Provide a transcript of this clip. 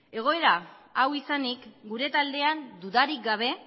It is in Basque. egoera hau izanik gure taldean dudarik gabe